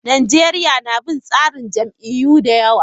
Najeriya na bin tsarin jam'iyyu da yawa.